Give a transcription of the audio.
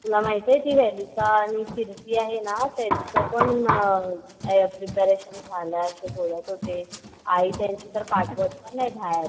तुला माहिती आहे ती वनिता आणि कीर्ती आहे ना त्यांचं पण प्रिपरेशन झालाय असे बोलत होते. आई त्यांची तर पाठवत पण नाही बाहेर.